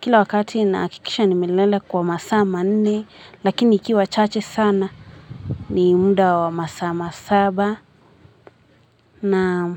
Kila wakati nahakikisha nimelala kwa masaa manni lakini ikiwa chache sana ni mda wa masaa masaba naam.